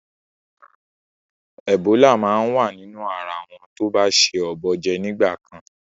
Ẹ̀bólà máa wa nínú ara àwọn tó ba se ọ̀bọ jẹ nígbà kan.